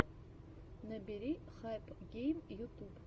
набери хайпгейм ютуб